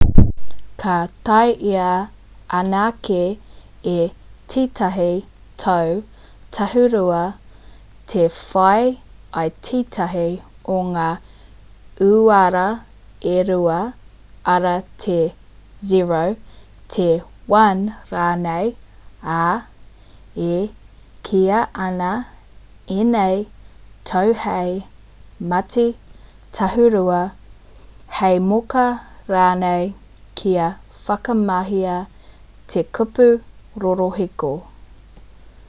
ka taea anake e tētahi tau tāhūrua te whai i tētahi o ngā uara e rua arā te 0 te 1 rānei ā e kīia ana ēnei tau hei mati tāhūrua hei moka ranei kia whakamahia te kupu rorohiko